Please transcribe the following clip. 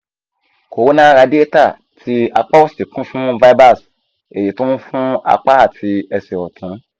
corona radiata ti apa osi kun fun fibers eyi to n fun apa ati ese otun